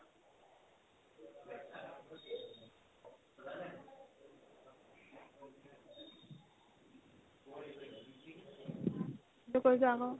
সেইটোও জানো